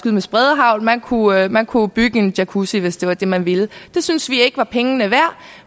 med spredehagl man kunne man kunne bygge en jacuzzi hvis det var det man ville det synes vi ikke var pengene værd